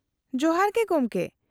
-ᱡᱚᱦᱟᱨ ᱜᱮ ᱜᱚᱢᱠᱮ ᱾